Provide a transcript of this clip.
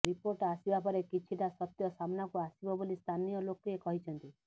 report ଆସିବା ପରେ କିଛିଟା ସତ୍ୟ ସାମ୍ନାକୁ ଆସିବ ବୋଲି ସ୍ଥାନୀୟଲୋକେ କହିଛନ୍ତି